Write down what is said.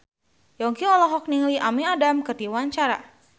Yongki olohok ningali Amy Adams keur diwawancara